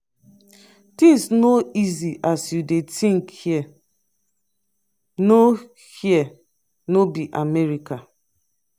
things no easy as you dey think here know here no be america